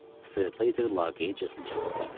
Streleter laqeydcəsinə cavab verdi.